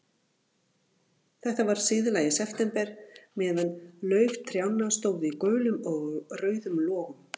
Þetta var síðla í september, meðan lauf trjánna stóð í gulum og rauðum logum.